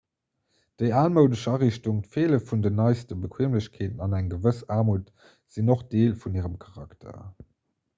déi almoudesch ariichtung d'feele vun den neiste bequeemlechkeeten an eng gewëss aarmut sinn och deel vun hirem charakter